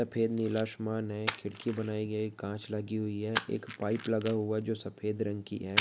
सफेद-नीला असमान है खिड़की बनाई गई है कांच लगी हुई है एक पाइप लगा हुआ जो सफेद रंग की है।